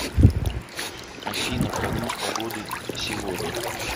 афина прогноз погоды сегодня